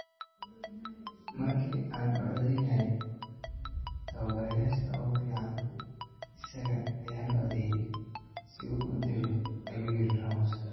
“Markii aan u codeynaynay tababarayaasha ugu fiican isaga ayaan u codeeyay, si uu u dego” ayuu yiri Ramos.